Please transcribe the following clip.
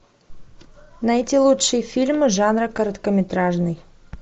найти лучшие фильмы жанра короткометражный